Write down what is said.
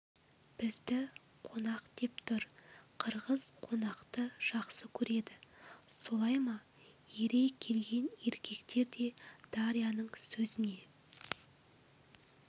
бізді қонақ деп тұр қырғыз қонақты жақсы көреді солай ма ере келген еркектер де дарьяның сөзіне